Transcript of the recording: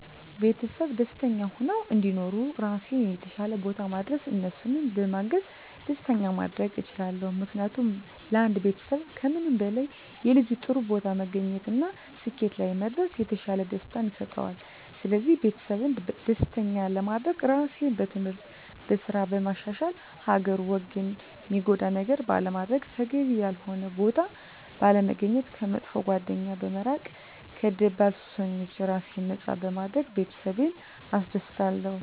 ቤተሰቤ ደስተኛ ሁነው እንዲኖሩ ራሴን የተሻለ ቦታ ማድረስ እነሱንም በማገዝ ደስተኛ ማድረግ እችላለሁ። ምክንያቱም ለአንድ ቤተሰብ ከምንም በላይ የልጁ ጥሩ ቦታ መገኘት እና ስኬት ላይ መድረስ የተሻለ ደስታን ይሰጠዋል ስለዚህ ቤተሰቤን ደስተኛ ለማድረግ ራሴን በትምህርት፣ በስራ በማሻሻል ሀገርን ወገንን ሚጎዳ ነገር ባለማድረግ፣ ተገቢ ያልሆነ ቦታ ባለመገኘት፣ ከመጥፎ ጓደኛ በመራቅ ከደባል ሱሶች ራሴን ነፃ በማድረግ ቤተሰቤን አስደስታለሁ።